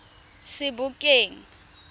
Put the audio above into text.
sebokeng